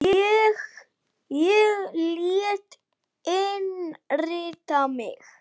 Ég lét innrita mig í